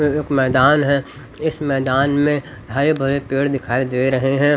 एक मैदान है इस मैदान में हरे भरे पेड़ दिखाई दे रहे हैं।